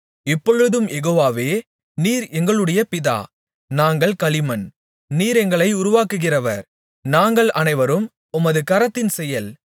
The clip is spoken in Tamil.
இப்பொழுதும் யெகோவாவே நீர் எங்களுடைய பிதா நாங்கள் களிமண் நீர் எங்களை உருவாக்குகிறவர் நாங்கள் அனைவரும் உமது கரத்தின்செயல்